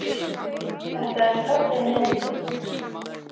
Þetta er falleg mynd.